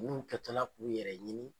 Ulu kɛtɔla k'u yɛrɛ ɲini